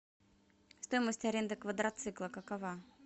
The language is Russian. стоимость аренды квадроцикла какова